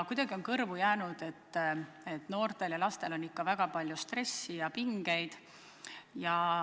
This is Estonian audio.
Kuidagi on kõrvu jäänud, et noortel ja lastel on ikka väga palju stressi ja pingeid.